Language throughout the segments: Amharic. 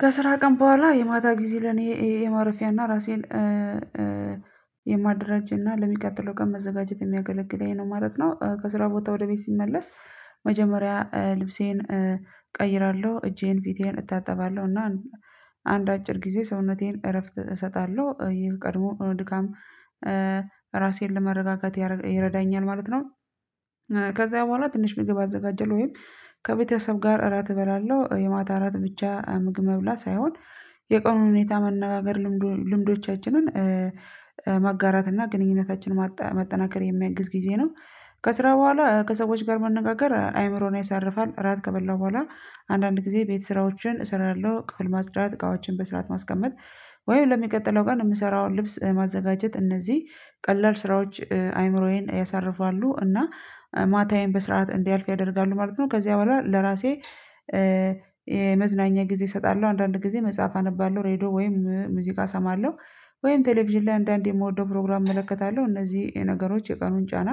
ከስራ ቀን በኋላ የማታ ጊዜ ለኔ የማረፊያና ራሴን የማደራጀ እና ለሚቀጥለው ቀን መዘጋጀት የሚያገለግለኝ ነው ማለት ነው። ከስራ ቦታ ወደ ቤት ስመለስ መጀመሪያ ልብሴን እቀይራለሁ እጄን ፊቴን እታጠባለሁ እና አንድ አጭር ጊዜ ሰውነቴን እረፍት እሰጣለሁ ይህ ቀድሞ ድካም ራሴን ለመረጋጋት ይረዳኛል ማለት ነው። ከዛ በኋላ ትንሽ ምግብ አዘጋጀለሁ ወይም ከቤተሰብ ጋር እራት እበላለሁ የማታ እራት ብቻ ምግብ መብላት ሳይሆን የቀኑን ሁኔታ መነጋገር ልምዶቻችንን ማጋራት እና ግንኙነታችን ማጠናከር የሚያግዝ ጊዜ ነው። ከስራ በኋላ ከሰዎች ጋር መነጋገር አይምሮን ያሳርፋል። እራት ከበላሁ በኋላ አንዳንድ ጊዜ ቤት ስራዎችን እሰራለሁ ክፍል ማጽዳት እቃዎችን በስርዓት ማስቀመጥ ወይም ለሚቀጥለው ቀን የምሰራውን ልብስ ማዘጋጀት እነዚህ ቀላል ስራዎች አይምሮዬን ያሳርፋሉ እና ማታዬን በስርዓት እንዲያልፍ ያደርጋሉ ማለት ነው። ከዚያ በኋላ ለራሴ የመዝናኛ ጊዜ እሰጣለሁ አንዳንድ ጊዜ መጽሐፍ አነባለሁ ሬድዮ ወይም ሙዚቃ እሰማለሁ። ወይም ቴሌቪዥን ላይ አንዳንዴ የምወደው ፕሮግራም እመለከታለሁ እነዚህ ነገሮች የቀኑን ጫና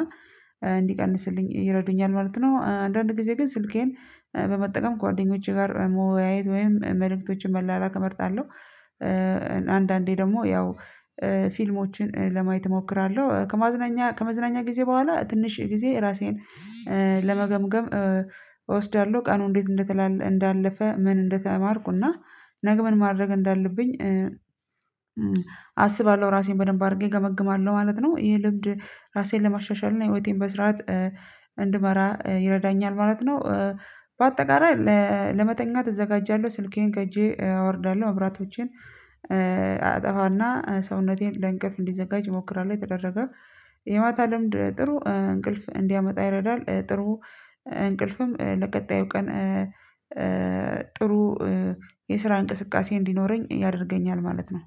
እንዲቀንስልኝ ይረዱኛል ማለት ነው። አንዳንድ ጊዜ ግን ስልኬን በመጠቀም ከጓደኞቼ ጋር መወያየት ወይም መልእክቶችን መላላክ እመርጣለሁ። አንዳንዴ ደግሞ ያው ፊልሞችን ለማየት እሞክራለሁ። ከመዝናኛ ከመዝናኛ ጊዜ በኋላ ትንሽ ጊዜ ራሴን ለመገምገም እወስዳለሁ ቀኑ እንዴት እንዳለፈ ምን እንደተማርኩና ነገ ምን ማድረግ እንዳለብኝ አስባለሁ ራሴን በደንብ አድርጌ ገመግማለሁ ማለት ነው። ይህ ልምድ ራሴን ለማሻሻል እና ህይወቴን በስራት እንድመራ ይረዳኛል ማለት ነው። በአጠቃላይ ለመተኛት እዘጋጃለህ ስልኬን ከእጄ አወርዳለሁ መብራቶቼን አጠፋና ሰውነቴን ለእንቅልፍ እንዲዘጋጅ እሞክራለሁ የተደረገ የማታ ልምድ ጥሩ እንቅልፍ እንዲያመጣ ይረዳል። ጥሩ እንቅልፍም ለቀጣዩ ቀን ጥሩ የስራ እንቅስቃሴ እንዲኖረኝ ያደርገኛል ማለት ነው።